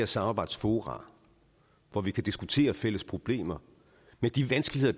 samarbejdsfora hvor vi kan diskutere fælles problemer med de vanskeligheder